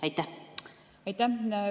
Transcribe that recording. Aitäh!